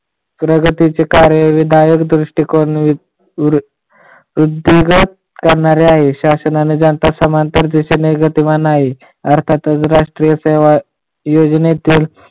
प्रगतीचे कार्य विधायक दृष्टिकोण वरुडीगात करणारे आहे. शासनाने जनता समांतर देशाने गतिमान आहे. अर्थातच योजनेतील